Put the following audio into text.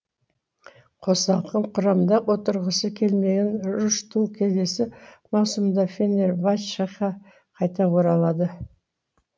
қосалқы құрамда отырғысы келмеген рүштү келесі маусымда фенербачха қайта оралды